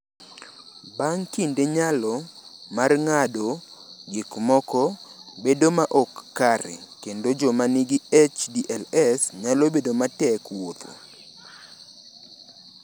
"Bang’ kinde, nyalo mar ng’ado gik moko bedo ma ok kare, kendo joma nigi HDLS nyalo bedo matek wuotho."